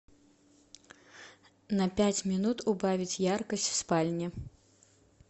на пять минут убавить яркость в спальне